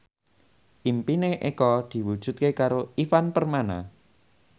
impine Eko diwujudke karo Ivan Permana